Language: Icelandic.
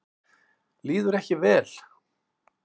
Líður ekki vel.